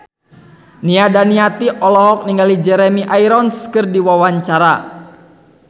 Nia Daniati olohok ningali Jeremy Irons keur diwawancara